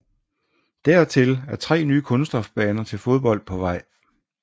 Dertil er tre nye kunststofbaner til fodbold på vej